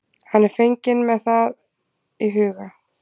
Hann er fenginn með það í huga.